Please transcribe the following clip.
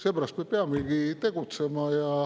Seepärast me peamegi tegutsema.